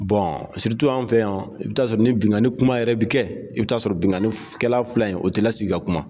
an fɛ yan i bɛ taa sɔrɔ ni binganni kuma yɛrɛ bi kɛ i bɛ taa sɔrɔ binganni kɛla fila in o tɛ lasigi ka kuma.